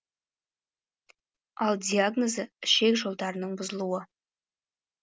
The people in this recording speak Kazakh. ал диагнозы ішек жолдарының бұзылуы